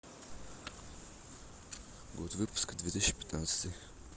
год выпуска две тысячи пятнадцатый